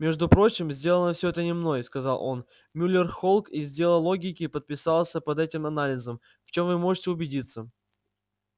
между прочим сделано всё это не мной сказал он мюллер холк из отдела логики подписался под этим анализом в чём вы можете убедиться